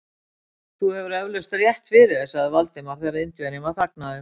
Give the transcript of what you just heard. Þú hefur eflaust rétt fyrir þér sagði Valdimar, þegar Indverjinn var þagnaður.